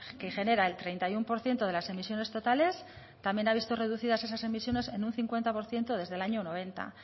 que genera el treinta y uno por ciento de las emisiones totales también ha visto reducidas esas emisiones en un cincuenta por ciento desde el año noventa